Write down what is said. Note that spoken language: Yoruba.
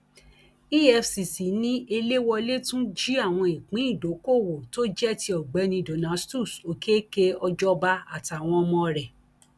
efcc ni eléwolé tún jí àwọn ìpín ìdókoòwò tó jẹ ti ọgbẹni donatus òkèkè ọjọba àtàwọn ọmọ rẹ